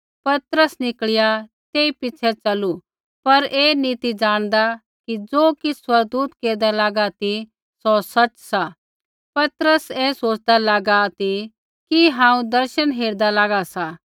पतरस निकल़िया तेई पिछ़ै च़लू पर ऐ नी ती ज़ाणदा कि ज़ो किछ़ स्वर्गदूत केरदा लागा ती सौ सच़ सा पतरस ऐ सोच़दा लागा ती कि हांऊँ दर्शन हेरदा लागा सा